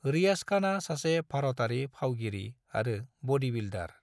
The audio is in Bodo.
रियाज खानआ सासे भारतारि फावगिरि आरो ब'डी बिल्डार।